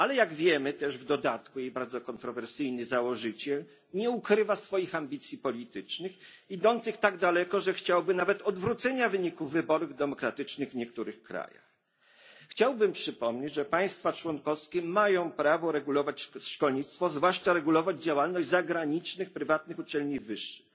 Ale, jak wiemy, w dodatku jej bardzo kontrowersyjny założyciel nie ukrywa swoich ambicji politycznych idących tak daleko, że chciałby nawet odwrócenia wyniku wyborów demokratycznych w niektórych krajach. Chciałbym przypomnieć, że państwa członkowskie mają prawo regulować szkolnictwo, zwłaszcza regulować działalność zagranicznych prywatnych uczelni wyższych.